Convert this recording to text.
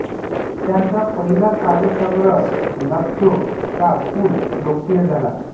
त्यांचा पहिला काव्यसंग्रह लफ्जों का पूल लोकप्रिय झाला